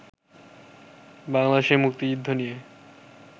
বাংলাদেশের মুক্তিযুদ্ধ নিয়ে